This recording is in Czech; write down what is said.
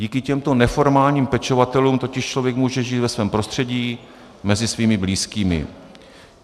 Díky těmto neformálním pečovatelům totiž člověk může žít ve svém prostředí, mezi svými blízkými.